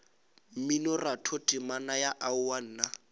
mminoratho temana ya aowa nna